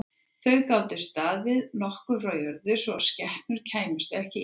Þau gátu staðið nokkuð frá jörð svo að skepnur kæmust ekki í þau.